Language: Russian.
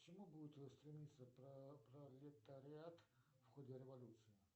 к чему будет стремиться пролетариат в ходе революции